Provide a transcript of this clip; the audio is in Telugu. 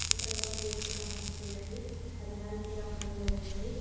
ఇక్కడ ఒక గేటు కనిపిస్తూ ఉంది అది నలుపు రంగులో ఉంది.